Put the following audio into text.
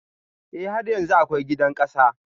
E, har yanzu akwai gidan ƙasa.